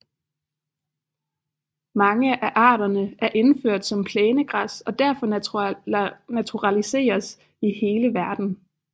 Mange af arterne er indført som plænegræs og derfor naturaliseret i hele verden